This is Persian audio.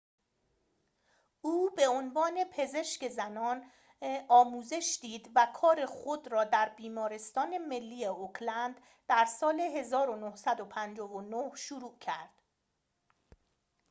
او به عنوان پزشک زنان آموزش دید و کار خود را در بیمارستان ملی اوکلند در سال ۱۹۵۹ شروع کرد